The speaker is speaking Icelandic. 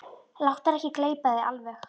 Láttu hann ekki gleypa þig alveg!